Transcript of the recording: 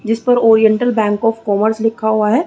जिस पर oriental bank of commerce लिखा हुआ हैं।